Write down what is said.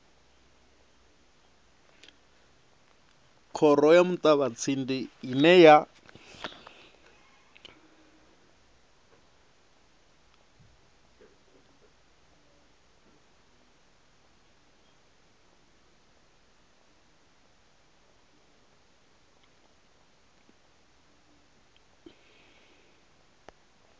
khoro ya muṱavhatsindi ine ya